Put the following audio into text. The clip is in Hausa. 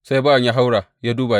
Sai bawan ya haura ya duba.